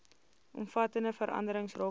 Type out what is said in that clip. omvattende veranderings rakende